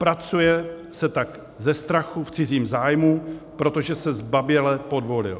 Pracuje se tak ze strachu v cizím zájmu, protože se zbaběle podvolil.